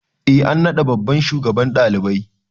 E an naɗa babban shugaban ɗalibai.